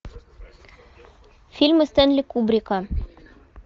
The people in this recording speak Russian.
фильмы стенли кубрика